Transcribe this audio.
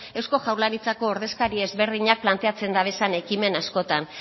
eusko jaurlaritzako ordezkari ezberdinak planteatzen dabezan ekimen askotan